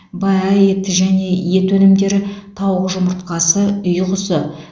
баә ет және ет өнімдері тауық жұмыртқасы үй құсы